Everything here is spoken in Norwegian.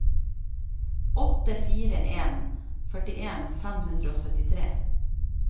åtte fire en en førtien fem hundre og syttitre